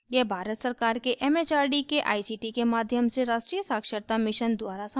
यह भारत सरकार के it it आर डी के आई सी टी के माध्यम से राष्ट्रीय साक्षरता mission द्वारा समर्थित है